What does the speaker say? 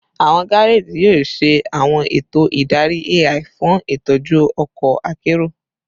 Awọn gareji yoo ṣe awọn eto idari AI fun itọju ọkọ akero